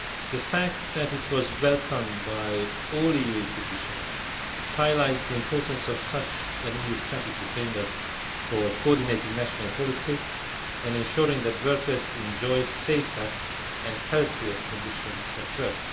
The fact that it was welcomed by all EU institutions highlights the importance of such an EU strategic framework for coordinating national policy and ensuring that workers enjoy safer and healthier conditions at work.